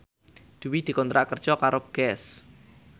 Dwi dikontrak kerja karo Guess